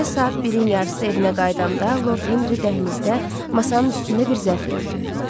Gecə saat 1-in yarısı evinə qayıdanda Lord Henri dəhlizdə masanın üstündə bir zərf gördü.